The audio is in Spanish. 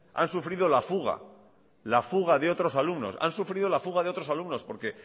han sufrido la fuga de otros alumnos porque